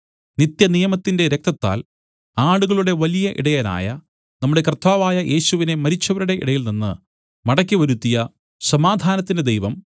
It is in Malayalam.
നിത്യനിയമത്തിന്റെ രക്തത്താൽ ആടുകളുടെ വലിയ ഇടയനായ നമ്മുടെ കർത്താവായ യേശുവിനെ മരിച്ചവരുടെ ഇടയിൽനിന്ന് മടക്കി വരുത്തിയ സമാധാനത്തിന്റെ ദൈവം